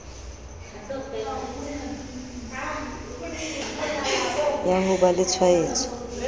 ya ho ba le ditshwaetso